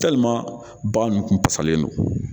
ba ninnu kun pasalen don